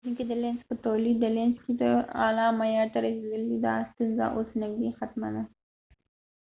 دلینزlenz تولیدونکې د لینز په تولید کې اعلی معیار ته رسیدلی دي د ا ستونزه اوس نږدې ختمه ده